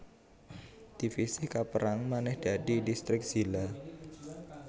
Divisi kapérang manèh dadi distrik zila